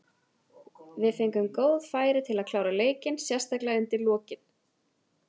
Við fengum góð færi til að klára leikinn, sérstaklega undir lokin.